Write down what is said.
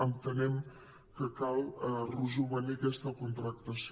entenem que cal rejovenir aquesta contractació